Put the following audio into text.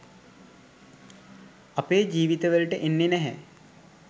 අපේ ජීවිතවලට එන්නේ නැහැ.